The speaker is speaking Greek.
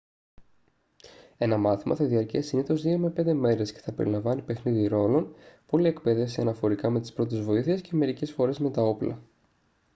ένα μάθημα θα διαρκέσει συνήθως 2-5 μέρες και θα περιλαμβάνει παιχνίδι ρόλων πολλή εκπαίδευση αναφορικά με τις πρώτες βοήθειες και μερικές φορές με τα όπλα